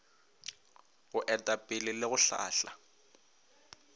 go etapele le go hlahla